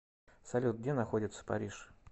салют где находится париж